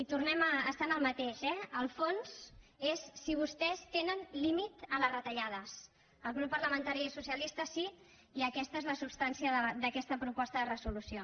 i tornem a estar en el mateix eh el fons és si vostès tenen límit en les retallades el grup parlamentari socialista sí i aquesta és la substància d’aquesta proposta de resolució